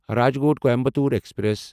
Rajkot Coimbatore express